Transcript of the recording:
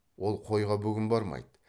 ол қойға бүгін бармайды